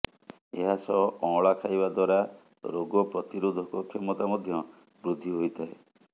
ଏହା ସହ ଅଁଳା ଖାଇବା ଦ୍ୱାରା ରୋଗପ୍ରତିରୋଧକ କ୍ଷମତା ମଧ୍ୟ ବୃଦ୍ଧି ହୋଇଥାଏ